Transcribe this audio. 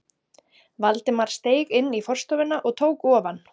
Valdimar steig inn í forstofuna og tók ofan.